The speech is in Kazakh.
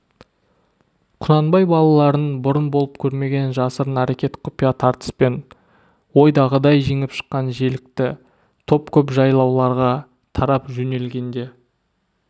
құнанбай балаларын бұрын болып көрмеген жасырын әрекет құпия тартыспен ойдағыдай жеңіп шыққан желікті топ көп жайлауларға тарап жөнелгенде